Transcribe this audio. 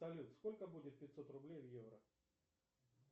салют сколько будет пятьсот рублей в евро